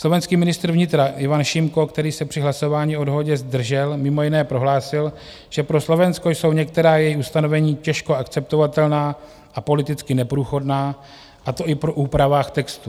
Slovenský ministr vnitra Ivan Šimko, který se při hlasování o dohodě zdržel, mimo jiné prohlásil, že pro Slovensko jsou některá její ustanovení těžko akceptovatelná a politicky neprůchodná, a to i po úpravách textu.